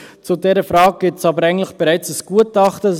Zu dieser Frage gibt es aber eigentlich bereits ein Gutachten;